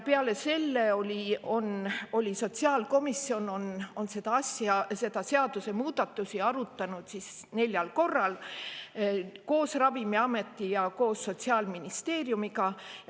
Peale selle, sotsiaalkomisjon on neid seadusemuudatusi arutanud neljal korral koos Ravimiameti ja Sotsiaalministeeriumiga.